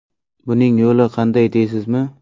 Buning yo‘li qanday deysizmi?